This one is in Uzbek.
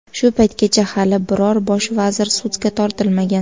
Shu paytgacha hali biror bosh vazir sudga tortilmagan.